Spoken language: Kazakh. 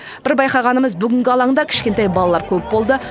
бір байқағанымыз бүгінгі алаңда кішкентай балалар көп болды